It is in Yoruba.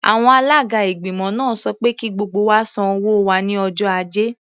Àwọn alága ìgbìmọ̀ náà sọ pé kí gbogbo wa san owó wa ní ọjọ́ Ajé.